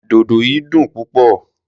Dodo yìí dùn púpọ̀.